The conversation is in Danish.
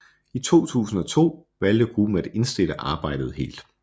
I 2002 valgte gruppen at indstille arbejdet helt